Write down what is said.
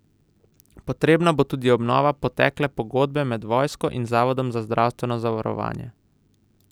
Potrebna bo tudi obnova potekle pogodbe med vojsko in zavodom za zdravstveno zavarovanje.